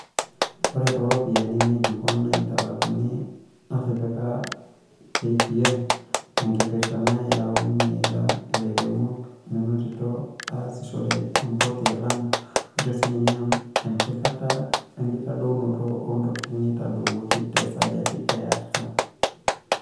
Ore tooropiyiani ngejuku naitalakuni naatipika KPA, tenkipirta nayaunye ilamirak meenotito aasishore empoti e Lamu, ore sininye empikata we nkitadounoto oo ntokitin neitadowuoki te sajati e artam.